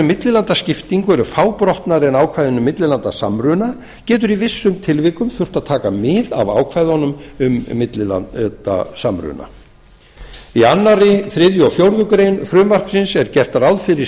millilandaskiptingu eru fábrotnari en ákvæðin um millilandasamruna getur í vissum tilvikum þurft að taka mið af ákvæðunum um millilandasamruna í öðru þriðja og fjórðu grein frumvarpsins er gert ráð fyrir